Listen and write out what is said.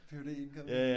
ph.d. incoming